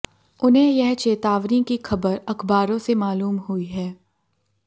उन्हें यह चेतावनी की खबर अखबारों से मालूम हुई है